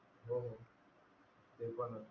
ते पण